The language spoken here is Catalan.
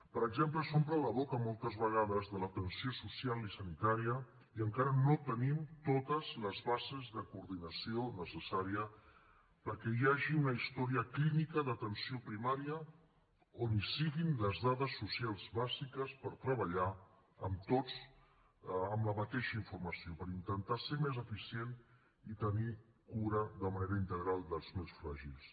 per exemple s’omplen la boca moltes vegades de l’atenció social i sanitària i encara no tenim totes les bases de coordinació necessària perquè hi hagi una història clínica d’atenció primària on hi siguin les dades socials bàsiques per treballar en tots amb la mateixa informació per intentar ser més eficient i tenir cura de manera integral dels més fràgils